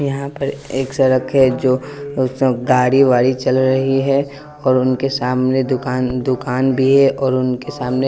यहाँ पर एक सड़क है जो गाड़ी-वाड़ी चल रही है और उनके सामने दुकान दुकान भी है और उनके सामने --